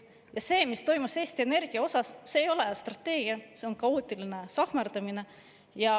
Ja see, mis toimus Eesti Energiaga, ei ole mitte strateegia, vaid on kaootiline sahkerdamine.